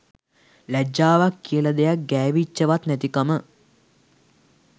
ලැජ්ජාවක් කියල දෙයක් ගෑවිච්චවත් නැතිකම.